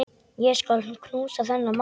Ég skal knúsa þennan mann!